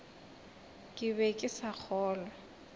ke be ke sa kgolwe